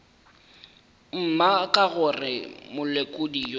mma ka gore molekodi yo